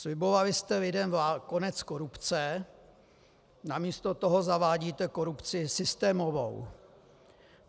Slibovali jste lidem konec korupce, namísto toho zavádíte korupci systémovou.